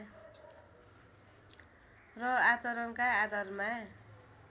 र आचरणका आधारमा